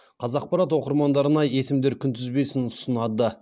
қазақпарат оқырмандарына есімдер күнтізбесін ұсынады